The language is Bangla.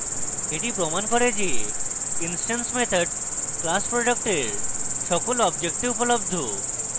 এটি প্রমান করে যে instance methods class product সকল objects উপলব্ধ